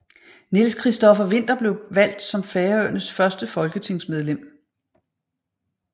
Niels Christopher Winther blev valgt som Færøernes første folketingsmedlem